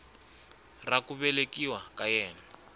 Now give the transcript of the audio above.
ra ku velekiwa ka yena